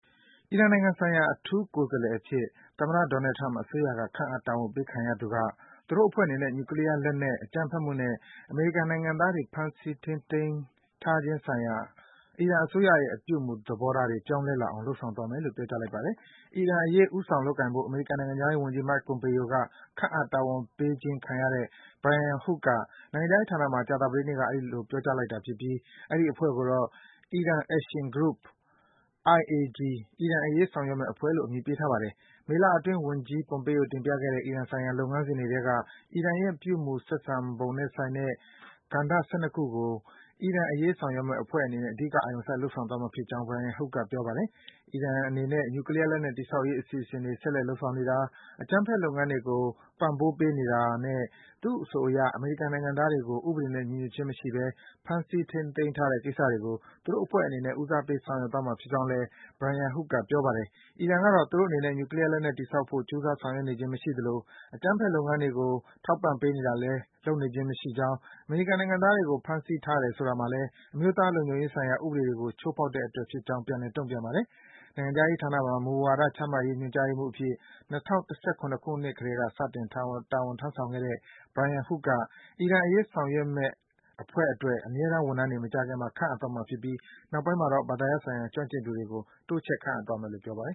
အီရန်နိုင်ငံဆိုင်ရာ အထူးကိုယ်စားလှယ်အဖြစ် သမ္မတ Donald Trump အစိုးရက ခန့်အပ် တာဝန်ပေးခံရသူက - သူတို့အဖွဲ့အနေနဲ့ နျူကလီးယားလက်နက်၊ အကြမ်းဖက်မှုနဲ့ အမေရိကန်နိုင်ငံသားတွေ ဖမ်းဆီး ထိန်းသိမ်းထားခြင်းဆိုင်ရာ အီရန်အစိုးရရဲ့ အပြုအမူ သဘောထားတွေ ပြောင်းလဲလာအောင် လုပ်ဆောင်သွားမယ်လို့ ပြောကြားလိုက်ပါတယ်။ အီရန်အရေး ဦးဆောင် လုပ်ကိုင်ဖို့ အမေရိကန်နိုင်ငံခြားရေးဝန်ကြီး Mike Pompeo က ခန့်အပ် တာဝန်ပေးခြင်းခံရတဲ့ Brian Hook က နိုင်ငံခြားရေးဌာနမှာ ကြာသပတေးနေ့က အဲဒီလို ပြောကြားလိုက်တာဖြစ်ပြီး အဲဒီ အဖွဲ့ကိုတော့ Iran Action Group အီရန်အရေး ဆောင်ရွက်မယ့်အဖွဲ့လို့ အမည်ပေးထားပါတယ်။ မေလအတွင်း ဝန်ကြီး Pompeo တင်ပြခဲ့တဲ့ အီရန်ဆိုင်ရာ လုပ်ငန်းစဉ်တွေထဲက အီရန်ရဲ့ ပြုမူ ဆက်ဆံပုံနဲ့ဆိုင်တဲ့ ကဏ္ဍ ၁၂ ခုကို အီရန်အရေးဆောင်ရွက်မယ့် အဖွဲ့အနေနဲ့ အဓိက အာရုံစိုက် လုပ်ဆောင်သွားမှာ ဖြစ်ကြောင်း Brian Hook က ပြောပါတယ်။ အီရန်အနေနဲ့ နြူကလီးယားလက်နက် တည်ဆောက်ရေး အစီအစဉ်တွေ ဆက်လက် လုပ်ဆောင်နေတာ၊ အကြမ်းဖက် လုပ်ငန်းတွေကို ထောက်ခံ အားပေးနေတာနဲ့ သူ့အဆိုအရ အမေရိကန်နိုင်ငံသားတွေကို ဥပဒေနဲ့ ညီညွတ်ခြင်းမရှိဘဲ ဖမ်းဆီး ထိန်းသိမ်းထားတဲ့ ကိစ္စတွေကို သူ့အဖွဲ့ အနေနဲ့ ဦးစားပေး ဆောင်ရွက်သွားမှာဖြစ်ကြောင်းလည်း Brian Hook က ပြောပါတယ်။ အီရန်ကတော့ သူတို့အနေနဲ့ နျူကလီးယားလက်နက် တည်ဆောက်ဖို့ ကြိုးစား ဆောင်ရွက်နေခြင်းမရှိသလို အကြမ်းဖက် လုပ်ငန်းတွေကို ပံ့ပေးတာလည်း လုပ်နေခြင်း မရှိကြောင်း၊ အမေရိကန်နိုင်ငံသားတွေကို ဖမ်းဆီးထားတယ် ဆိုတာမှာလည်း အမျိုးသားလုံခြုံရေးဆိုင်ရာ ဥပဒေတွေကို ချိုးဖောက်တဲ့အတွက် ဖြစ်ကြောင်း ပြန်လည် တုန့်ပြန်ခဲ့ပါတယ်။ နိုင်ငံခြားရေးဌာနမှာ မူဝါဒ ချမှတ်ရေးညွန်ကြားရေးမှူးအဖြစ် ၂၀၁၇ ခုနှစ်ကတည်းက စတင် တာဝန်ထမ်းဆောင်ခဲ့တဲ့ Brian Hook က အီရန်အရေး ဆောင်ရွက်မယ့်အဖွဲ့အတွက် အမြဲတမ်း ဝန်ထမ်းတွေ မကြာခင်မှာ ခန့်အပ်သွားမှာဖြစ်ပြီး နောက်ပိုင်းမှာတော့ ဘာသာရပ်ဆိုင်ရာ ကျွမ်းကျင်သူတွေကို တိုးချဲ့ ခန့်အပ်သွားမယ်လို့ ပြောပါတယ်။